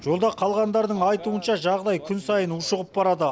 жолда қалғандардың айтуынша жағдай күн сайын ушығып барады